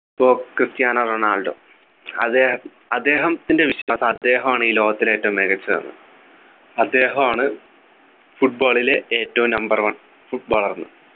ഇപ്പോ Cristiano Ronaldo അദ്ദേഹം അദ്ദേഹത്തിൻ്റെ വിശ്വാസം അദ്ദേഹമാണ് ഈ ലോകത്തിലെ ഏറ്റവും മികച്ചതെന്നു അദ്ദേഹമാണ് football ലെ ഏറ്റവും Number one footballer ന്ന്